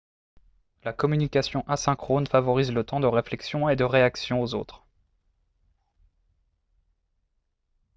la communication asynchrone favorise le temps de réflexion et de réaction aux autres